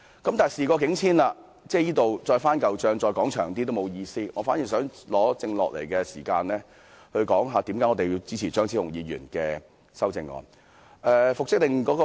現在事過境遷，再多說亦沒有意思，我反而想利用餘下的時間，解釋為何我們支持張超雄議員的修正案。